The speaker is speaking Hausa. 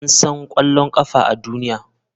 An san ƙwallon ƙafa a duniya?